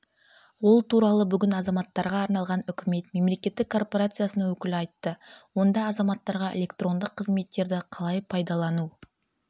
ол туралы бүгін азаматтарға арналған үкімет мемлекеттік корпорациясының өкілі айтты онда азаматтарға электронды қызметтерді қалай пайдалану